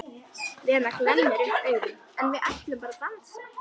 Lena glennir upp augun: En við ætlum bara að dansa.